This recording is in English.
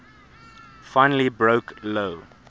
finally broke lou